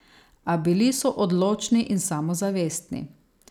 A bili so odločni in samozavestni.